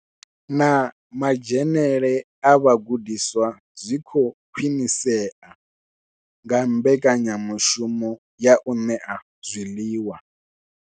Na madzhenele a vhagudiswa zwi khou khwinisea nga mbekanyamushumo ya u ṋea zwiḽiwa.